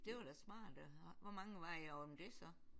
Det var da smart. Hvor mange var I om det så?